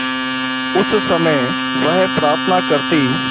उस समय वह प्रार्थना करती